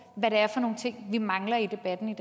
hvad det er for nogle ting vi mangler i debatten